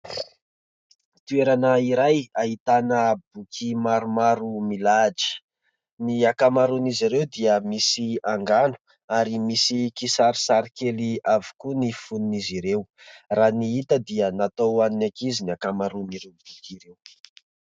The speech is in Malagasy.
Toerana iray ahitana boky maromaro milahatra, ny akamaron'izy ireo dia misy angano ary misy kisarisarikely avokoa ny fononin'izy ireo. Raha ny hita dia natao hoan'ny ankizy ny hakamaroany ireo boky ireo.